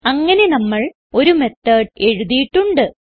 അങ്ങനെ നമ്മൾ ഒരു മെത്തോട് എഴുതിയിട്ടുണ്ട്